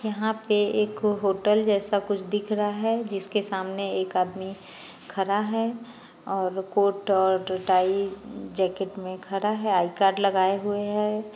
यहाँ पे एक होटल जैसा कुछ दिख रहा है जिसके सामने एक आदमी खड़ा है और कोट और टाई जैकेट में खड़ा है आई कार्ड लगाए हुए है।